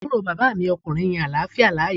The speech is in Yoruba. Àbúrò bàbá mi ọkùnrin yan àláfíà láàyò